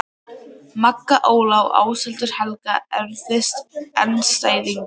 Magga Óla og Ásthildur Helga Erfiðasti andstæðingur?